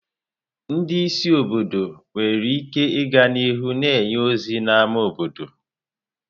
Ndị isi obodo nwere ike ịga n'ihu na-enye ozi n'ámá obodo.